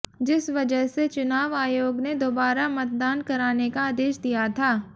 जिस वजह से चुनाव आयोग ने दोबारा मतदान कराने का आदेश दिया था